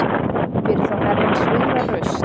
Fyrir þá Herrans hryggðarraust